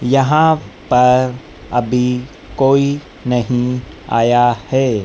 यहां पर अभी कोई नहीं आया है।